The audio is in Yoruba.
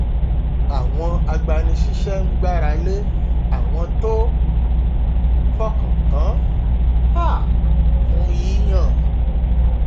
àwọn agbanisíṣẹ ń gbára lé àwọn tó fọkàn tán um fún yíyan